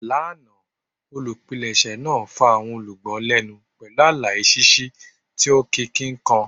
Lana, olupilẹṣẹ naa fa awọn olugbo lẹnu pẹlu alaye ṣiṣi ti o nkiki kan.